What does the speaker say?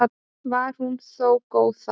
Var hún þó góð þá.